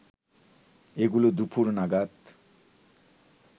এগুলো দুপুর নাগাদ